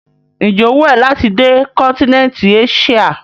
Ǹjẹ́ ó wù ẹ́ láti dé kọ́ńtíneńtì Eṣíà?